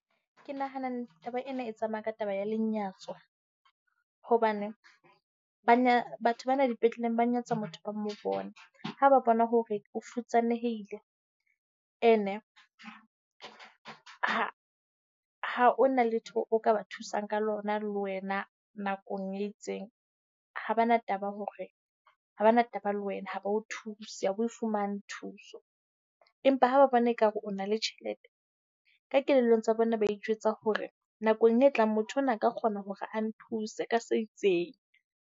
Ke nahana taba ena e tsamaya ka taba ya lenyatso hobane ba batho bana dipetleleng ba nyatsa motho ba mo bona. Ha ba bona hore o futsanehile. And-e ha ha o na letho o ka ba thusang ka lona le wena nakong e itseng. Ha bana taba hore ha bana taba le wena, ha ba o thuse. Ha o e fumane thuso. Empa ha ba bona ekare o na le tjhelete ka kelellong tsa bona ba itjwetsa hore nakong e tlang motho ona a ka kgona hore a nthuse ka se itseng.